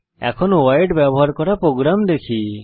এখন ভয়েড ব্যবহার করা প্রোগ্রাম দেখি